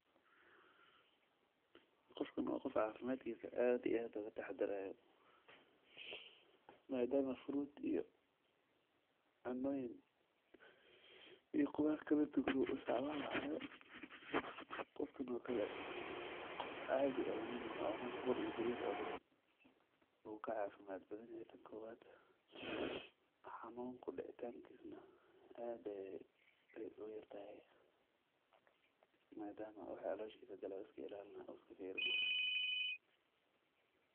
Qof kano waa qof caafimaadkiisa aad iyo aado ka tax darayo. Maadaama fruit iyo cannoyn, iyo khudaarka la dugro ustacamaal ahaayo. Qof kano kalle. Qof aadi ee la mid mahad oo maanta bur iyo bariis cuune. Uu ka caafimaad badan haysan ku waad xanuun ku dhici taan kisna aaday u yartahay. Maadaama u waxa caloshiisa galo iska ilaalinaya oo iska fiirinaya.